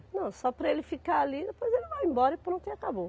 Não, só para ele ficar ali, depois ele vai embora e pronto, e acabou.